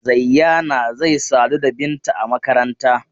Zayyana zai sadu da Binta a makaranta.